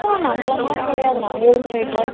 கொஞ்சம் நம்மளமாதிரி கிடையாது.நம்ம ஊரு மாதிரி கிடையாது.